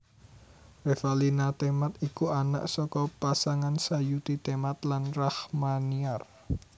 Revalina Temat iku anak saka pasangan Sayuti Temat lan Rachmaniar